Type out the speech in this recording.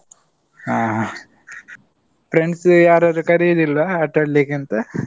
ಹಾ friends ಯಾರಾದ್ರೂ ಕರಿಯುದಿಲ್ವಾ? ಆಟಾಡ್ಲಿಕ್ ಅಂತ?